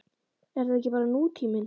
Er þetta ekki bara nútíminn?